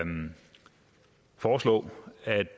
foreslå